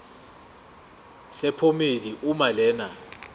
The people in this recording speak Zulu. sephomedi uma lena